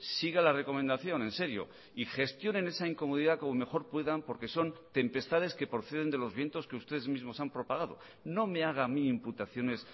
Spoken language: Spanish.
siga la recomendación en serio y gestionen esa incomodidad como mejor puedan porque son tempestades que proceden de los vientos que ustedes mismos han propagado no me haga a mí imputaciones